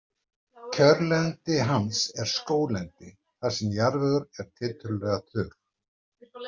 Kjörlendi hans er skóglendi þar sem jarðvegur er tiltölulega þurr.